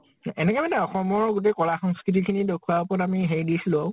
এনেকে মানে অসমৰ গোটেই কলা সংস্কৃতি তাৰ ওপৰত আমি হেৰি দিছিলো।